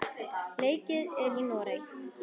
Leikið er í Noregi.